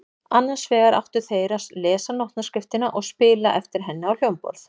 Annars vegar áttu þeir að lesa nótnaskriftina og spila eftir henni á hljómborð.